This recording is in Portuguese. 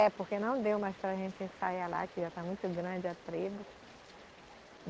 É, porque não deu mais para a gente ensaiar lá, que já está muito grande a tribo.